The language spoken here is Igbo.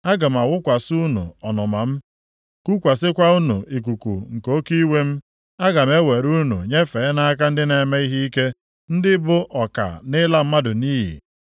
Aga m awụkwasị unu ọnụma m, kukwasịkwa unu ikuku nke oke iwe m. Aga m ewere unu nyefee nʼaka ndị na-eme ihe ike, ndị bụ ọka na ịla mmadụ nʼiyi.